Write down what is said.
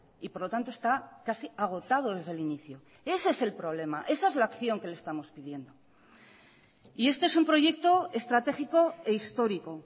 y por lo tanto está casi agotado desde el inicio ese es el problema esa es la acción que le estamos pidiendo y este es un proyecto estratégico e histórico